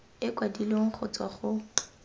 e kwadilweng go tswa go